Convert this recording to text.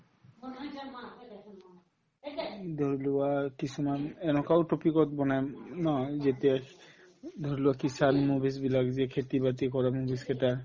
উম, ধৰিলোৱা কিছুমান এনেকুৱাও topic ত বনাই উম উম ধৰিলোৱা movies বিলাক যে খেতি-বাতি কৰা movies কেইটা